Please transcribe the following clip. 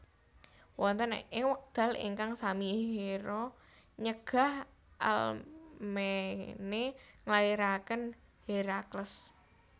Wonten ing wekdal ingkang sami Hera nyegah Alkmene nglairaken Herakles